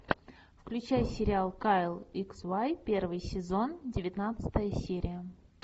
включай сериал кайл икс вай первый сезон девятнадцатая серия